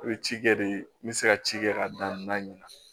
N bɛ ci kɛ de n bɛ se ka ci kɛ ka dan naani